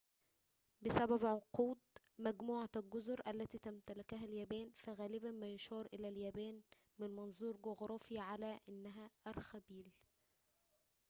بسبب عنقود/مجموعة الجزر التي تمتلكها اليابان، فغالباً ما يُشار إلى اليابان -من منظور جغرافي- على أنها أرخبيل